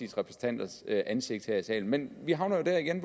repræsentanters ansigter her i salen men vi havner jo igen